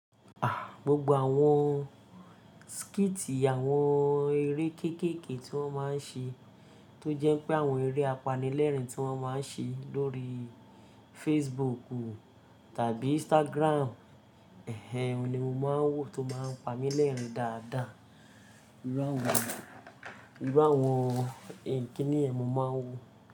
Gbogbo àwọn skiti àwọn eré kéékèèké tí wọ́n máa ń ṣe tó jẹ́ pé àwọn eré apanilẹ́rìn tí wọ́n máa ń ṣe lórí Facebook tàbí Instagram, oun ní mo máa ń wò tó máa ń pamilẹ́rìn dáadáa. Irú àwọn kíni yẹn, mo máa ń wò.